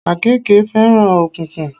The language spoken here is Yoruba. Àkéèke fẹ́ràn òkùnkùn